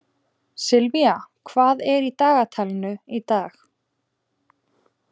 Sylvía, hvað er í dagatalinu í dag?